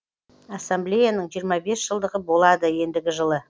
ассамблеяның жиырма бес жылдығы болады ендігі жылы